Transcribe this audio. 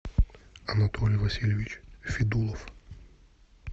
анатолий васильевич федулов